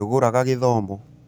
ndũgũraga gĩthomo?